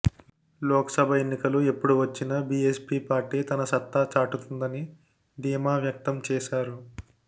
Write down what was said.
లోక్సభ ఎన్నికలు ఎప్పుడు వచ్చిన బీఎస్పీ పార్టీ తన సత్తా చాటుతుందని దీమా వ్యక్తం చేశారు